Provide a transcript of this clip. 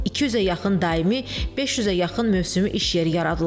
200-ə yaxın daimi, 500-ə yaxın mövsümü iş yeri yaradılıb.